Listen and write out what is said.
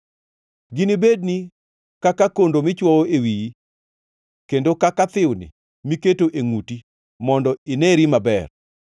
Ginibedni kaka kondo michwowo e wiyi, kendo kaka thiwni miketo e ngʼuti mondo ineri maber.